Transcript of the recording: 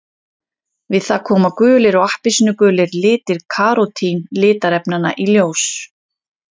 Við það koma gulir og appelsínugulir litir karótín litarefnanna í ljós.